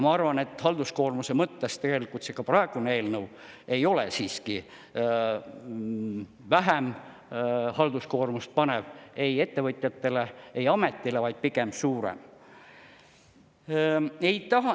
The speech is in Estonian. Ma arvan, et halduskoormuse mõttes tegelikult ka praegune eelnõu ei ole siiski vähem halduskoormust panev ei ettevõtjatele, ei ametile, vaid pigem suurem.